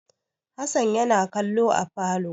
Hassan yana kallo a falo.